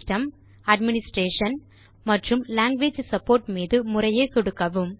system administration மற்றும் language support மீது முறையே சொடுக்கவும்